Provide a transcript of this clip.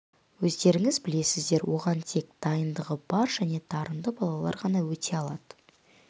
өздеріңіз білесіздер оған тек дайындығы бар және дарынды балалар ғана өте алады